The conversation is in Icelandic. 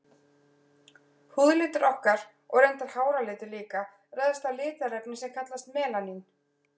Húðlitur okkar, og reyndar háralitur líka, ræðst af litarefni sem kallast melanín.